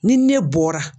Ni ne bɔra